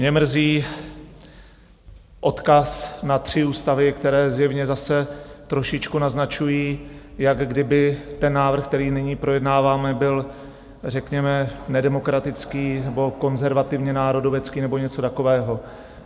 Mě mrzí odkaz na tři ústavy, které zjevně zase trošičku naznačují, jak kdyby ten návrh, který nyní projednáváme, byl řekněme nedemokratický nebo konzervativně národovecký nebo něco takového.